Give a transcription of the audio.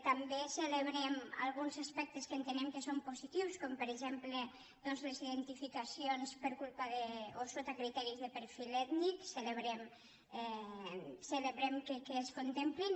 també celebrem alguns aspectes que entenem que són positius com per exemple doncs les identificacions per culpa o so·ta criteris de perfil ètnic celebrem que es contemplin